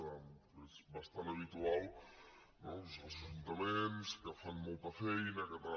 és bastant habitual no els ajuntaments que fan molta feina que tal